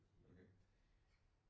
Okay